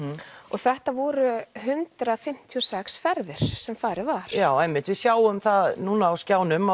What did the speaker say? þetta voru hundrað fimmtíu og sex ferðir sem farið var já einmitt við sjáum það núna á skjánum